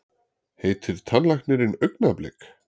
Heitir tannlæknirinn Augnablik?